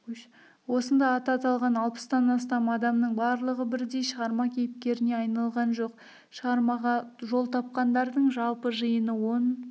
осында аты аталған алпыстан астам адамның барлығы бірдей шығарма кейіпкеріне айналған жоқ шығармаға жол тапқандарының жалпы жиыны он